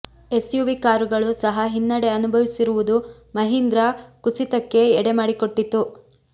SUV ಕಾರುಗಳು ಸಹ ಹಿನ್ನಡೆ ಅನುಭವಿಸಿರುವುದು ಮಹೀಂದ್ರ ಕುಸಿತಕ್ಕೆ ಎಡೆ ಮಾಡಿಕೊಟ್ಟಿತ್ತು